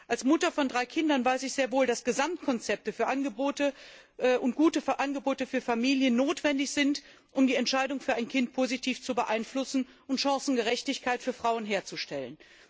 Als Mutter von drei Kindern weiß ich sehr wohl, dass Gesamtkonzepte und gute Angebote für Familien notwendig sind, um die Entscheidung für ein Kind positiv zu beeinflussen und Chancengerechtigkeit für Frauen herzustellen.